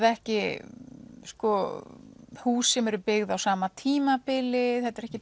ekki hús sem eru byggð á sama tímabili þetta eru ekki